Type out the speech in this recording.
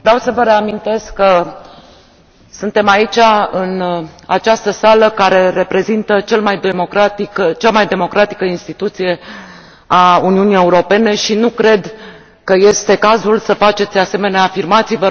Vreau să vă reamintesc că suntem aici, în această sală care reprezintă cea mai democratică instituție a Uniunii Europene și nu cred că este cazul să faceți asemenea afirmații.